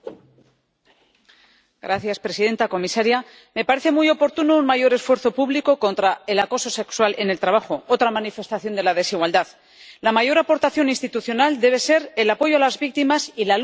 Señora presidenta, señora comisaria, me parece muy oportuno un mayor esfuerzo público contra el acoso sexual en el trabajo, otra manifestación de la desigualdad. La mayor aportación institucional debe ser el apoyo a las víctimas y la lucha contra la impunidad.